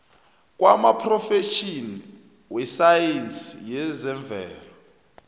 kwamaphrofetjhini wesayensi yezemvelo